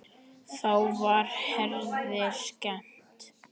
Þá var Herði skemmt.